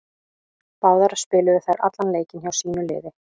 Báðar spiluðu þær allan leikinn hjá sínu liði.